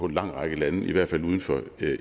lang række lande i hvert fald uden for